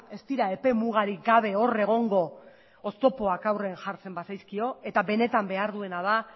ez dira epemugarik gabe hor egongo oztopoak aurrean jartzen bazaizkio eta benetan behar duena da